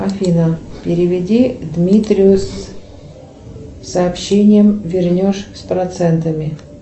афина переведи дмитрию с сообщением вернешь с процентами